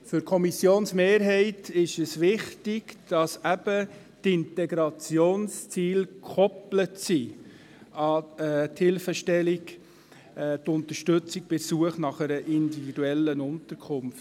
Für die Kommissionsmehrheit ist es wichtig, dass die Integrationsziele gekoppelt sind an die Hilfestellung zur Unterstützung bei der Suche nach einer individuellen Unterkunft.